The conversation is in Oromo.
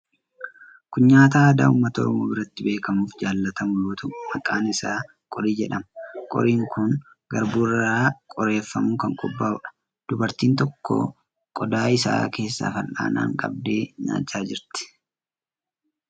Kun nyaata aadaa uummata Oromoo biratti beekamuu fi jaallatamu yoo ta'u, maqaan isaa qorii jedhama. Qoriin kun garbuu irraa qoreeffamuun kan qophaa'uudha. Dubartiin tokko qodaa isaa keessaa fal'aanaan qabdee nyaachaa jirti.